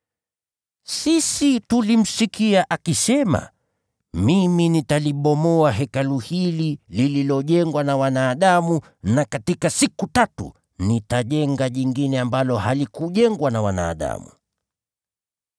“Sisi tulimsikia akisema, ‘Mimi nitalibomoa Hekalu hili lililojengwa na wanadamu, na katika siku tatu nitajenga jingine ambalo halikujengwa na wanadamu.’ ”